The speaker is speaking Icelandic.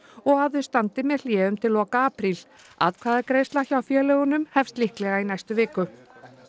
og að þau standi með hléum til loka apríl atkvæðagreiðsla hjá félögunum hefst líklega í næstu viku